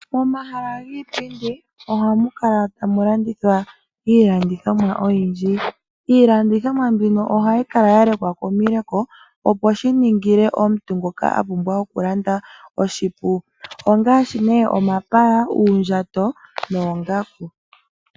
Momahala giipindi ohamu kala tamu landithwa iilandithomwa oyindji. Iilandithomwa mbino ohayi kala yalekwa komileko opo shiningile omuntu ngoka a pumbwa okulanda oshipu ongaashi nee, omapaya, uundjato noongaku.